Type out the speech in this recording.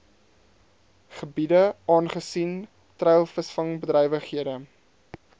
gebiede aangesien treilvisvangbedrywighede